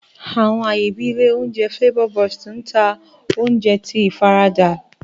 Àwọn aaye bii ilé oúnjẹ Flavor Burst n ta oúnjẹ ti ifarada.